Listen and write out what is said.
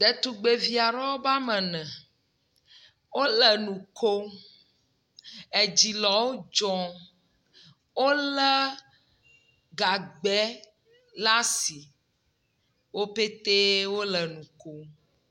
Ɖetugbevi aɖewo be ame ene, wole enu ko, edzi le wo dz, wole enu ko, edzi le wo dzɔ. Wolé gagbɛ le asi, wo petee wole nu ko.